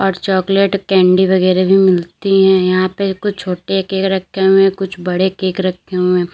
Chocolate candy वगैरा भी मिलती है यहां पे कुछ छोटे केक रखे हुए हैं कुछ बड़े केक रखे हुए हैं।